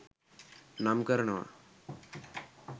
නම් කරනව